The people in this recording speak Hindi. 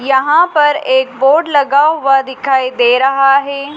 यहां पर एक बोर्ड लगा हुआ दिखाई दे रहा है।